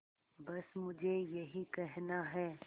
बस मुझे यही कहना है